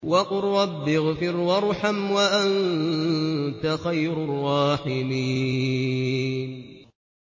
وَقُل رَّبِّ اغْفِرْ وَارْحَمْ وَأَنتَ خَيْرُ الرَّاحِمِينَ